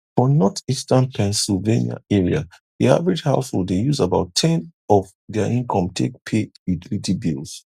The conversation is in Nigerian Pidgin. for northeastern pennsylvania area the average household dey use about ten of their income take pay utility bills